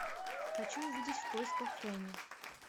хочу увидеть в поисках фэнни